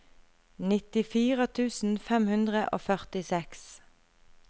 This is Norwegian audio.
nittifire tusen fem hundre og førtiseks